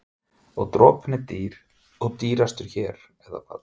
En dropinn er dýr og dýrastur hér, eða hvað?